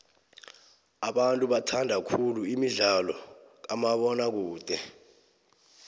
abantu bathanda khulu imidlalo kamabona kude